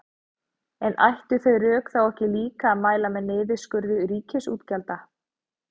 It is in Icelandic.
En ættu þau rök þá ekki líka að mæla með niðurskurði ríkisútgjalda?